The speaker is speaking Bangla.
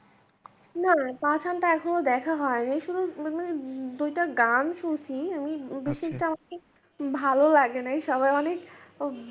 না পাঠানটা এখনো দেখা হয়নি শুধু মানে দুইটা গান শুনছি আমি বিশেষ আমাকে ভালো লাগেনাই সবাই অনেক।